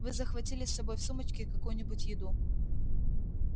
вы захватили с собой в сумочке какую-нибудь еду